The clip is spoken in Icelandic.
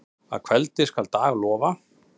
Að kveldi skal dag lofa.